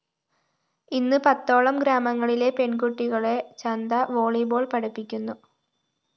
ഇന്ന് പത്തോളം ഗ്രാമങ്ങളിലെ പെണ്‍കുട്ടികളെ ചന്ദ വോളിബോൾ പഠിപ്പിക്കുന്നു